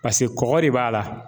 Paseke kɔgɔ de b'a la